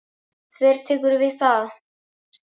Þvertekurðu fyrir það?